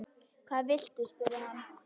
Hvað viltu? spurði hann.